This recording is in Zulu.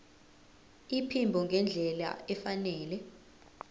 iphimbo ngendlela efanele